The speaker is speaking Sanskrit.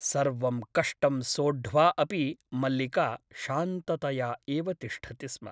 सर्वं कष्टं सोढ्वा अपि मल्लिका शान्ततया एव तिष्ठति स्म ।